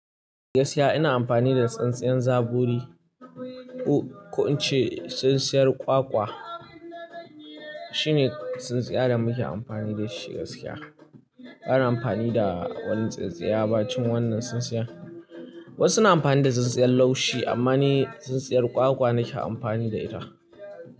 Gaskiya ina amfani da tsintsiyan zabori. Ko in ce tsintsiyar kwakwa, shine tsintsiya da muke amfani da shi gaskiya. Ba na amfani da wata tsintsiya bayan wannan tsintsiyan. Wasu na amfani da tsintsiyan laushi amma ni tsintsiyar kwakwa nake amfani da ita.